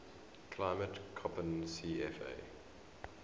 climate koppen cfa